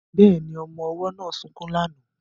Bẹ́ẹ̀ni, ọmọ ọwọ́ náà sunkún lánàá